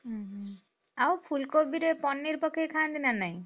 ହୁଁ, ଆଉ ଫୁଲକୋବିରେ paneer ପକେଇ ଖାଆନ୍ତି ନା ନାହିଁ?